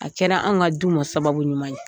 A kɛra anw ka du ma sababu ɲuman ye